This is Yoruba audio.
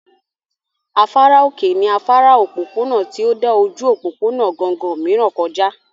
Afárá òkè ní afárá òpópónà tí ó dà ojú òpópónà gangan mìíràn kọ já